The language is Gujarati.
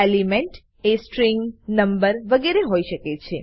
એલિમેન્ટએ સ્ટ્રીંગ નંબર વગરે હોઈ શકે છે